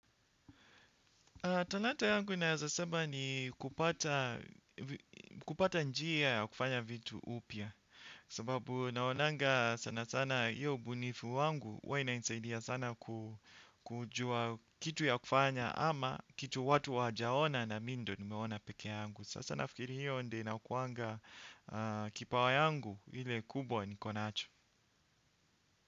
Talanta yangu naeza sema ni kupata njia ya kufanya vitu upya. Sababu naonanga sana sana hiyo ubunifu wangu huwa inainsaidia sana kujua kitu ya ukufanya ama kitu watu wajaona na mi ndio nimeona peke yangu. Sasa nafikiri hiyo ndio inakuanga kipawa yangu hile kubwa niko nacho.